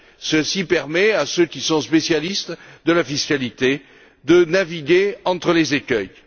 Ceci permet à ceux qui sont spécialistes de la fiscalité de naviguer entre les écueils.